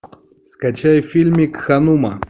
скачай фильмик ханума